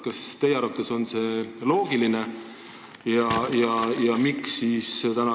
Kas teie arvates on see loogiline?